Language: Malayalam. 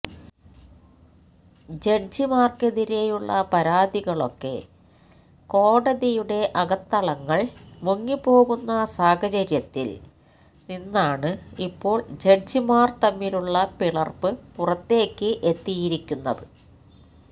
ജഡ്ജിമാര്ക്കെതിരെയുള്ള പരാതികളൊക്കെ കോടതിയുടെ അകത്തളങ്ങള് മുങ്ങിപ്പോകുന്ന സാഹചര്യത്തില് നിന്നാണ് ഇപ്പോള് ജഡ്ജിമാര് തമ്മിലുള്ള പിളര്പ്പ് പുറത്തേക്ക് എത്തിയിരിക്കുന്നത്